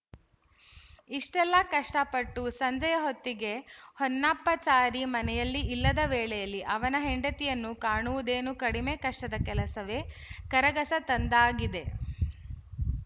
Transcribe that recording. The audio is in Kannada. ಇಷೆ್ಟಲ್ಲ ಕಷ್ಟಪಟ್ಟು ಸಂಜೆಯ ಹೊತ್ತಿಗೆ ಹೊನ್ನಪ್ಪಾಚಾರಿ ಮನೆಯಲ್ಲಿ ಇಲ್ಲದ ವೇಳೆಯಲ್ಲಿ ಅವನ ಹೆಂಡತಿಯನ್ನು ಕಾಣುವುದೇನು ಕಡಿಮೆ ಕಷ್ಟದ ಕೆಲಸವೇ ಕರಗಸ ತಂದಾಗಿದೆ